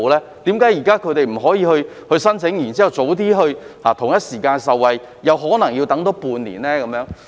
為何邨巴現在不可以申請以便在同一時間受惠，而可能要多等半年呢？